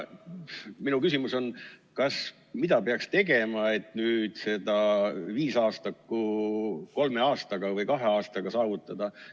Minu küsimus on, mida peaks tegema, et nüüd seda viisaastakut kolme aastaga või kahe aastaga saavutada.